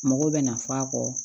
Mɔgɔw bɛ na f'a kɔ